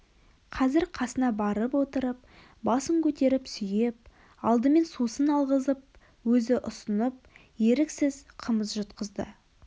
қазір қасына барып отырып басын көтеріп сүйеп алдымен сусын алғызып өзі ұсынып еріксіз қымыз жұтқызды